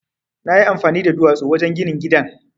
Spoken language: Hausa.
Na yi amfani da duwatsu wajen ginin gidan.